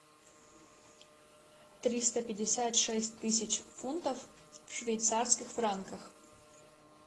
триста пятьдесят шесть тысяч фунтов в швейцарских франках